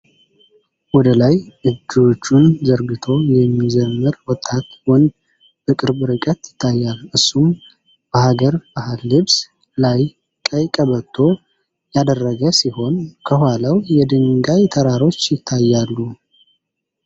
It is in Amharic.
ወደ ላይ እጆቹን ዘርግቶ የሚዘምር ወጣት ወንድ በቅርብ ርቀት ይታያል። እሱም በሐገር ባህል ልብስ ላይ ቀይ ቀበቶ ያደረገ ሲሆን፣ ከኋላው የድንጋይ ተራሮች ይታያሉ።